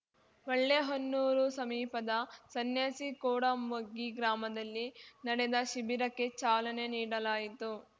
ಹೊಳ್ಳೆಹೊನ್ನೂರು ಸಮೀಪದ ಸನ್ಯಾಸಿಕೋಡಮಗ್ಗಿ ಗ್ರಾಮದಲ್ಲಿ ನಡೆದ ಶಿಬಿರಕ್ಕೆ ಚಾಲನೆ ನೀಡಲಾಯಿತು